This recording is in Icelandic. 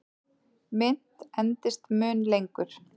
Mynt endist mun lengur.